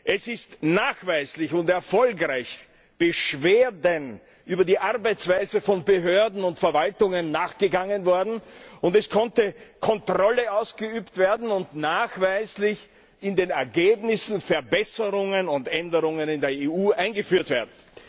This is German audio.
Es ist nachweislich und erfolgreich Beschwerden über die Arbeitsweise von Behörden und Verwaltungen nachgegangen worden, und es konnte Kontrolle ausgeübt werden und nachweislich in den Ergebnissen Verbesserungen und Änderungen in der EU eingeführt werden.